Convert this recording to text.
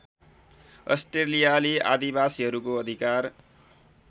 अस्ट्रेलियाली आदिवासीहरूको अधिकार